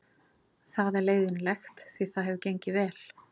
Það er leiðinlegt því það hefur gengið vel.